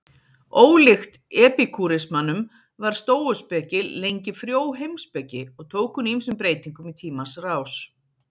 Ólíkt epikúrismanum var stóuspeki lengi frjó heimspeki og tók hún ýmsum breytingum í tímans rás.